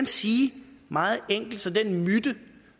sige det meget enkelt så den myte